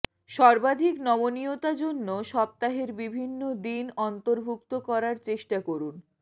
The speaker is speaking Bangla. সর্বাধিক নমনীয়তা জন্য সপ্তাহের বিভিন্ন দিন অন্তর্ভুক্ত করার চেষ্টা করুন